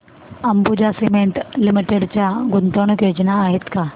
Ambuja cement limited च्या गुंतवणूक योजना आहेत का